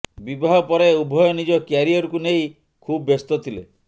ବିବାହ ପରେ ଉଭୟ ନିଜ କ୍ୟାରିୟରକୁ ନେଇ ଖୁବ୍ ବ୍ୟସ୍ତ ଥିଲେ